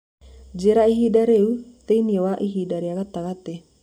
njĩĩra ĩhĩnda rĩa riu thĩĩ ini wa ĩhĩnda rĩa gatagati